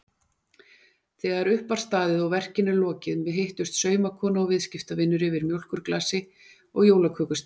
Þegar upp var staðið og verkinu lokið hittust saumakona og viðskiptavinur yfir mjólkurglasi og jólakökusneið.